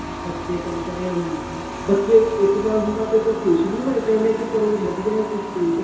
ਬੱਚੇ ਤਾਂ ਵਿਚਾਰੇ ਅਹ ਬੱਚੇ ਇੱਕ ਬਾਰ ਪਾਸੇ ਤੋਂ ਖੁਸ਼ ਵੀ ਹੋਏ ਪਏ ਨੇ ਕੀ ਚਲੋ ਵਧੀਆ ਅਸੀਂ ਸਕੂਲ ਤੋਂ